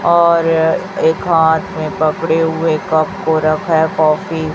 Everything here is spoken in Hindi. और एक हाथ में पड़े हुए कप को रखा है काफी --